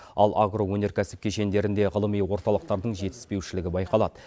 ал агро өнеркәсіп кешендерінде ғылыми орталықтардың жетіспеушілігі байқалады